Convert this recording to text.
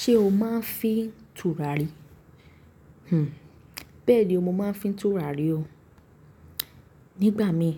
Ṣé o máa ń fín tùràrí? Hmn, bẹ́ẹ̀ni o mo máa ń fín tùràrí o. Nígbà mi,